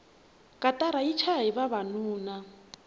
katara yi chayahi vavanuna